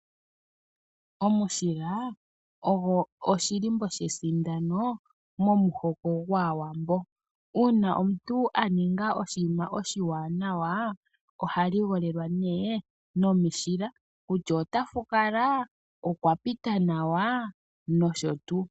Omushila ogo edhindhiliko shesindano momuhoko gwAawambo. Uuna omuntu a ninga oshinima oshiwanawa oha ligolelwa nduno nomushila, kutya otafukula, okwa pita nawa nosho tuu.